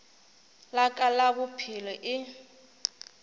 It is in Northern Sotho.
la ka la bophelo e